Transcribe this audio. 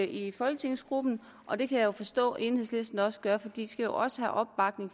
i folketingsgruppen og det kan jeg forstå at enhedslisten også gør fordi de skal jo også have opbakning